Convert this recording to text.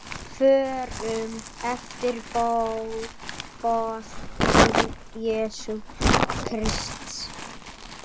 Förum eftir boðum Jesú Krists.